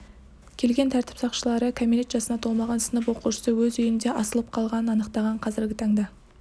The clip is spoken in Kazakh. келген тәртіп сақшылары кәмелет жасына толмаған сынып оқушысы өз үйінде асылып қалғанын анықтаған қазіргі таңда